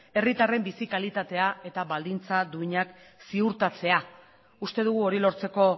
herritarren bizi kalitatea eta baldintza duinak ziurtatzea uste dugu hori lortzeko